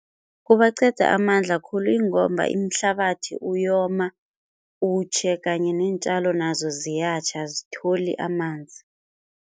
Kubaqeda amandla khulu ingomba imhlabathi uyoma utjhe kanye neentjalo nazo ziyatjha azitholi amanzi.